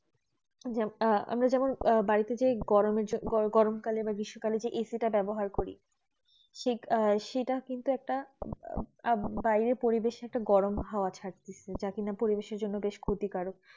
আমরা যেমন আহ বাড়িতে যে গরম কালে গ্রীস্ম কালে যে AC ব্যবহার করি সেটা কিন্তু একটা বাইরে পরিবেশ একটা গরম হাওয়া ছাড়তেছে যা কেন পরিবেশ জন্য ক্ষতি কারক